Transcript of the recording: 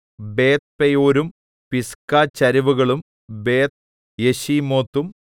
ബേത്ത്പെയോരും പിസ്ഗച്ചരിവുകളും ബേത്ത്യെശീമോത്തും